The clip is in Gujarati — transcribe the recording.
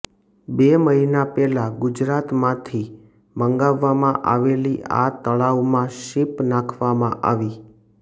બે મહિના પહેલા ગુજરાત માંથી મગાવવામાં આવેલી આ તળાવમાં શીપ નાખવામાં આવી